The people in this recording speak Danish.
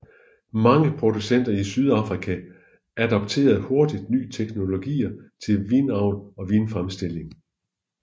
Mange producenter i Sydafrika adopterede hurtigt nye teknologier til vinavl og vinfremstilling